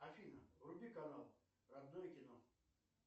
афина вруби канал родное кино